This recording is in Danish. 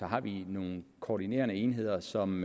har vi nogle koordinerende enheder som